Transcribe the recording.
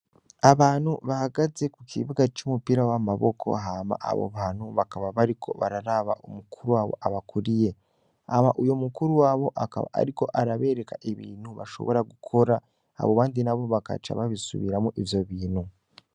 Abantu bahagaze ku kibuga c'umupira w'amaboko, hama abo bantu bakaba bariko bararaba umukuru wabo abakuriye, hama uyo mukuru wabo abakuriye akaba ariko arabereka ibintu bashobora gukora, abo bandi nabo bakaca babisubiramwo ivyo bintu.